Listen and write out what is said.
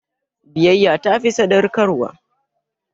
Biyyya ta fi sadaukarwa.